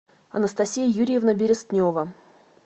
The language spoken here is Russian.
анастасия юрьевна берестнева